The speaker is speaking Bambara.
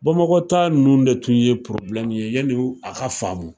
Bamakɔ ta nunnu de tun ye ye yani a ka faamu.